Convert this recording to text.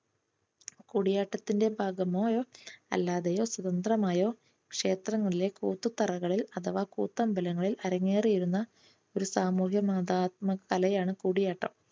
കൂടിയാട്ടത്തിന്റെ ഭാഗമായോ അല്ലാതെയോ സ്വാതന്ത്രമായോ ക്ഷേത്രങ്ങളിലെ കൂത്തുതറകളിൽ അഥവാ കൂത്തമ്പലങ്ങളിൽ അരങ്ങേറിയിരുന്ന ഒരു സാമൂഹ്യ മതാത്മക കലയാണ് കൂടിയാട്ടം.